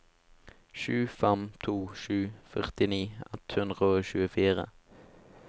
sju fem to sju førtini ett hundre og tjuefire